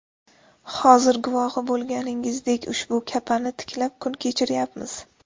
Hozir guvohi bo‘lganingizdek, ushbu kapani tiklab, kun kechiryapmiz.